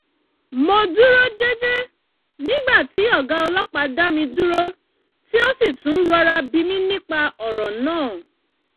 mo dúró jẹ́jẹ́ nígbà tí ọ̀gá ọlọ́pàá dá mi dúró tí ó sì tún rọ́ra bí mi nípa ọ̀rọ̀ náà